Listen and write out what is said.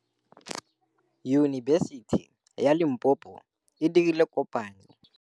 Yunibesiti ya Limpopo e dirile kopanyô le MEDUNSA.